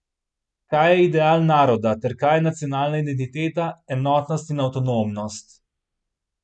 Kaj je ideal naroda ter kaj nacionalna identiteta, enotnost in avtonomnost?